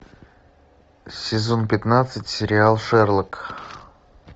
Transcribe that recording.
сезон пятнадцать сериал шерлок